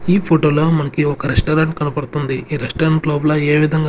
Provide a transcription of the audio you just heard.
ఈ ఫోటో లో మనకి ఒక రెస్టారెంట్ కనపడుతుంది ఈ రెస్టారెంట్ లోపల ఏ విధంగా.